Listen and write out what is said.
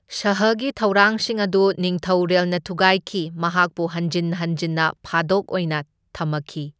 ꯁꯥꯍꯒꯤ ꯊꯧꯔꯥꯡꯁꯤꯡ ꯑꯗꯨ ꯅꯤꯡꯊꯧꯔꯦꯜꯅ ꯊꯨꯒꯥꯏꯈꯤ, ꯃꯍꯥꯛꯄꯨ ꯍꯟꯖꯟ ꯍꯟꯖꯟꯅ ꯐꯥꯗꯣꯛ ꯑꯣꯏꯅ ꯊꯝꯈꯤ꯫